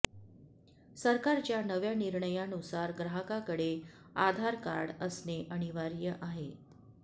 सरकारच्या नव्या निर्णयानुसार ग्राहकाकडे आधार कार्ड असने अनिवार्य आहे